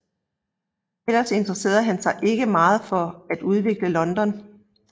Ellers interesserede han sig ikke meget for at udvikle London